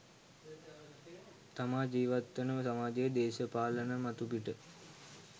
තමා ජීවත් වන සමාජයේ දේශපාලන මතුපිට